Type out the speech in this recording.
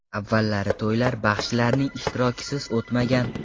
Avvallari to‘ylar baxshilarning ishtirokisiz o‘tmagan.